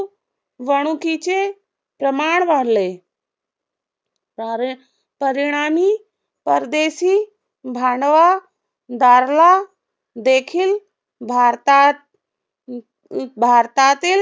वणुकीचे प्रमाण वाढले. परिणामी परदेशी भांडवा दारला देखील भारतात अं अं भारतातील